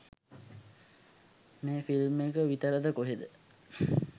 මේ ෆිල්ම් එක විතරද කොහෙද